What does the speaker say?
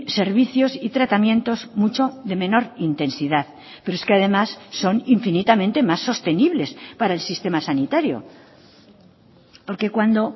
servicios y tratamientos mucho de menor intensidad pero es que además son infinitamente más sostenibles para el sistema sanitario porque cuando